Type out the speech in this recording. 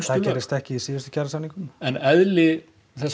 það gerðist ekki í síðustu kjarasamningum en eðli